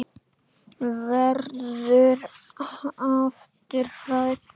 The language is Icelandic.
Verður aftur hrædd.